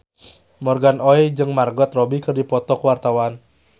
Morgan Oey jeung Margot Robbie keur dipoto ku wartawan